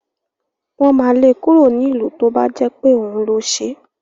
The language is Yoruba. Wọ́n ma le kúrò nílùú tó jẹ́ pé òun ló ṣẹ̀